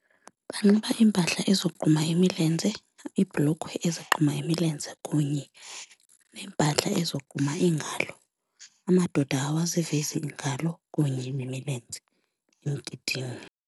Banxiba iimpahla ezogquma imilenze, iibhulukhwe ezogquma imilenze kunye neempahla ezogquma iingalo, amadoda awazivezi iingalo kunye nemilenze emgidini.